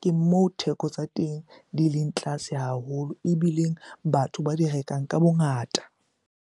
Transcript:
ke mo theko tsa teng di leng tlase haholo ebileng batho ba di rekang ka bongata.